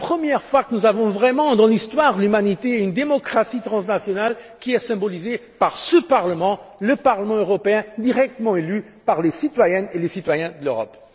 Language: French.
C'est la première fois que nous avons véritablement dans l'histoire de l'humanité une démocratie transnationale, symbolisée par ce Parlement le Parlement européen directement élu par les citoyennes et les citoyens de l'Europe.